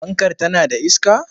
Fankar tana da iska?